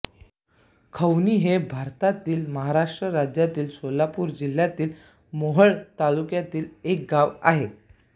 खवणी हे भारतातील महाराष्ट्र राज्यातील सोलापूर जिल्ह्यातील मोहोळ तालुक्यातील एक गाव आहे